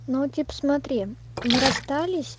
ну типо смотри мы расстались